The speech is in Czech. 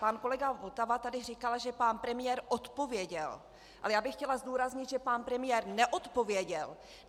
Pan kolega Votava tady říkal, že pan premiér odpověděl, ale já bych chtěla zdůraznit, že pan premiér neodpověděl!